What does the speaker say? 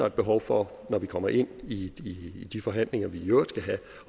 et behov for når vi kommer ind i de forhandlinger vi i øvrigt skal have